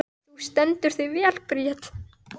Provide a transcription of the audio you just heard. Þú stendur þig vel, Bríet!